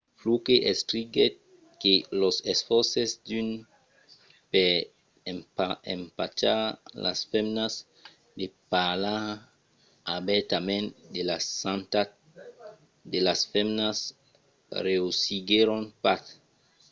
fluke escriguèt que los esfòrces d'unes per empachar las femnas de parlar obèrtament de la santat de las femnas reüssiguèron pas